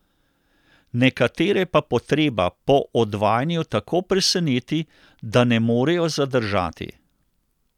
Nekatere pa potreba po odvajanju tako preseneti, da ne morejo zadržati.